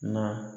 Na